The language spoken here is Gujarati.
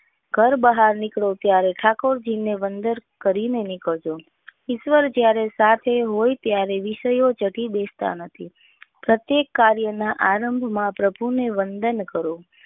ઘર બહાર નીકળો ત્યારે ઠાકોરજી ને વંદન કરી ને કર નીકળજો ઈશ્વર જયારે સાથે હોય ત્યારે વિષયો ચઢી બેસ તા નથી પ્રત્યેક કાર્ય ના આરંભમાં પ્રભુ ને વંદન કરો